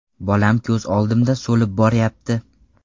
Bolam ko‘z oldimda so‘lib boryapti.